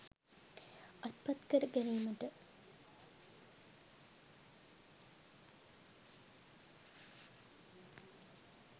අත්පත් කර ගැනීමට